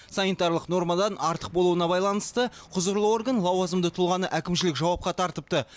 санитарлық нормадан артық болуына байланысты құзырлы орган лауазымды тұлғаны әкімшілік жауапқа тартыпты